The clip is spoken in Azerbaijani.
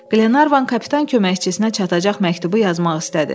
Qlenarvan kapitan köməkçisinə çatacaq məktubu yazmaq istədi.